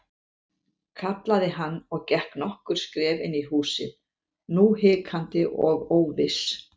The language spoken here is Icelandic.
kallaði hann og gekk nokkur skref inn í húsið, nú hikandi og óviss.